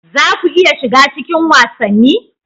Za ku iya shiga cikin wasanni?